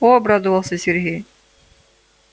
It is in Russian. о обрадовался сергей